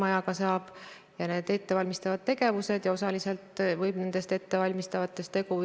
Ja kuigi Eesti kaupleb nende WTO reeglite alusel 15-st suurimast kaubanduspartnerist ainult kolme riigiga, on need riigid meie jaoks mahtude poolest väga olulised.